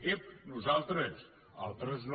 ep nosaltres altres no